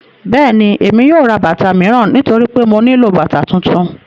Bẹ́ẹ̀ni, Emi yóò rá bátà miíran nítorí pé mó nilọ bátà tuntun.